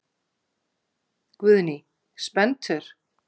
Guðný: Spenntur?